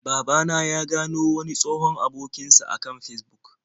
Baba na ya gano wani tsohon abokin sh a kan Fesbuk.